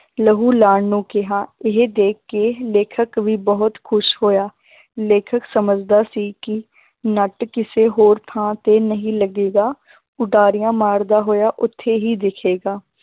ਲਹੂ ਲਾਉਣ ਨੂੰ ਕਿਹਾ, ਇਹ ਦੇਖ ਕੇ ਲੇਖਕ ਵੀ ਬਹੁਤ ਖ਼ੁਸ਼ ਹੋਇਆ ਲੇਖਕ ਸਮਝਦਾ ਸੀ ਕਿ ਨੱਟ ਕਿਸੇ ਹੋਰ ਥਾਂ ਤੇ ਨਹੀਂ ਲੱਗੇਗਾ ਉਡਾਰੀਆਂ ਮਾਰਦਾ ਹੋਇਆ ਉੱਥੇ ਹੀ ਦਿਖੇਗਾ